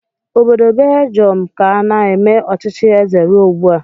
Obodo Beljọm ka na-eme ọchịchị eze ruo ugbu a